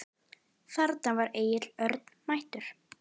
Þarna var Egill Örn mættur.